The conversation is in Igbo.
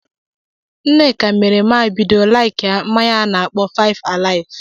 Nneka mere ma-ebido laikia mmanya a na-akpọ 5-alive.